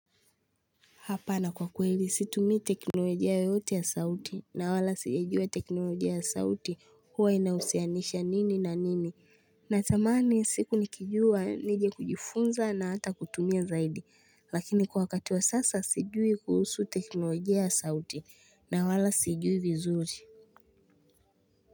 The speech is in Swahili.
Hapa na kwa kweli situmii teknolojia yoyote ya sauti na wala sijajua teknolojia ya sauti huwa inahusianisha nini na nini. Natamani siku nikijua nije kujifunza na hata kutumia zaidi lakini kwa wakati wa sasa sijui kuhusu teknolojia ya sauti na wala sijui vizuri.